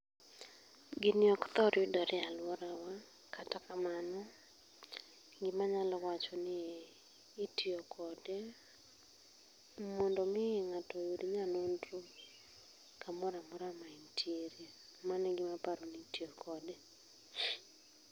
Gini ok thor yudore e aluorawa, kata kamano gima anyalo wachoni itiyo kod emondo mi oyud nyanonro kumoro amora ma entiiere. Mano egima aparo ni itiyo kode